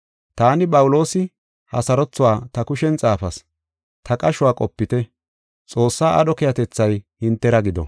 Taani, Phawuloosi, ha sarothuwa ta kushen xaafas. Ta qashuwa qopite. Xoossaa aadho keehatethay hintera gido.